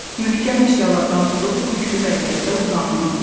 Möhkəm əşyalardan tutub bükülü vəziyyətdə uzanın.